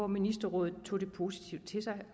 ministerrådet tog ideen positivt til sig